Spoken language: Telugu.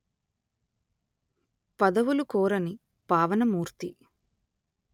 పదవులు కోరని పావన మూర్తి